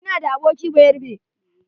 Ina da aboki bayarabe.